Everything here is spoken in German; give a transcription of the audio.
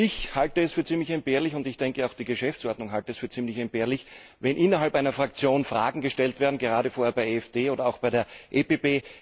Ich halte es für ziemlich entbehrlich und ich denke, auch die Geschäftsordnung hält es für ziemlich entbehrlich wenn innerhalb einer Fraktion Fragen gestellt werden, gerade vorher bei der EFDD oder auch bei der PPE.